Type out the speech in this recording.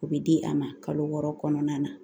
O bɛ di a ma kalo wɔɔrɔ kɔnɔna na